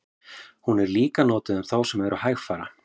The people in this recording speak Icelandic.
hún er líka notuð um þá sem eru hægfara